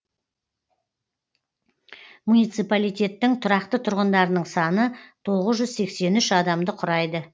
муниципалитеттің тұрақты тұрғындарының саны тоғыз жүз сексен үш адамды құрайды